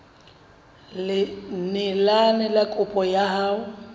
neelane ka kopo ya hao